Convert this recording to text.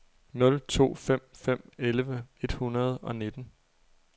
nul to fem fem elleve et hundrede og nitten